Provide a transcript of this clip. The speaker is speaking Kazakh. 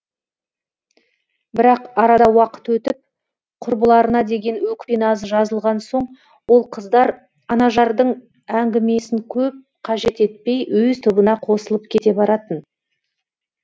бірақ арада уақыт өтіп құрбыларына деген өкпе назы жазылған соң ол қыздар анажардың әңгімесін көп қажет етпей өз тобына қосылып кете баратын